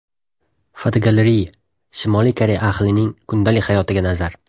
Fotogalereya: Shimoliy Koreya ahlining kundalik hayotiga nazar.